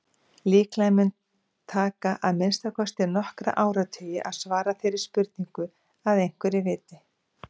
Líklega mun taka að minnsta kosti nokkra áratugi að svara þeirri spurningu að einhverju viti.